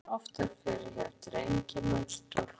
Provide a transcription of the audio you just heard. Þessi sjúkdómur kemur oftar fyrir hjá drengjum en stúlkum.